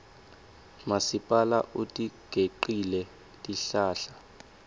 masipala utigecile tihlahla